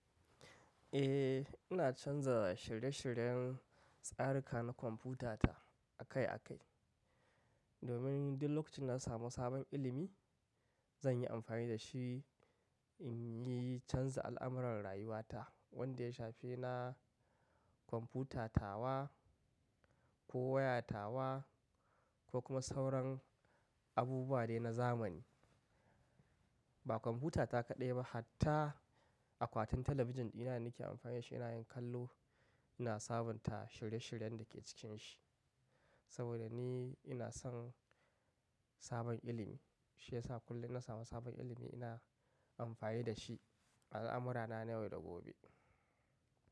Eh, ina canza shirye-shiryen tsarika na kwamfutata akai-akai. Domin duk lokacin na samu sabon ilimi, zan yi amfani da shi in yi canza al'amuran rayuwata wanda ya shafi na kwamfutat awa ko waya tawa ko kuma sauran abubuwa dai na zamani. Ba kwamfutata kaɗai ba, hatta akwatin talabijin ɗina da nake amfani da shi ina yin kallo ina sabunta shirye-shiryen da ke cikinshi. Saboda ni ina son sabon ilimi, shi yasa kullum inna samu sabon ilimi ina amfani da shi a al'amurana na yau da gobe.